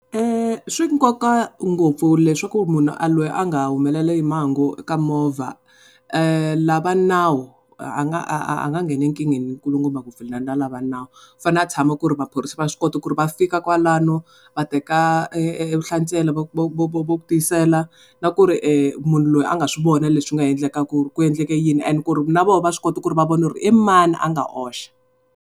Swi nkoka ngopfu leswaku munhu loyi a nga humeleriwa hi mhangu eka movha la va nawu a nga a nga nghena enkingheni va nawu u fanele a tshama ku ri maphorisa va swi kota ku ri va fika kwalano va teka vuhlatswelo tisela na ku ri munhu loyi a nga swi vona leswi nga endleka ku ri ku endleke yini and ku ri na vona va swi kota ku ri va vona ku ri i mani a nga oxa.